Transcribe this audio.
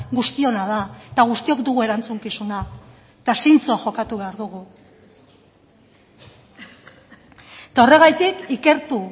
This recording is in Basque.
guztiona da eta guztiok dugu erantzukizuna eta zintzo jokatu behar dugu eta horregatik ikertu